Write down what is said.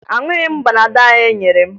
Aṅụghị m panadọ ahụ e nyere m